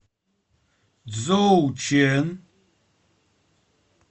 цзоучэн